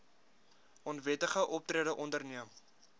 onwettige optrede onderneem